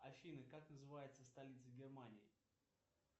афина как называется столица германии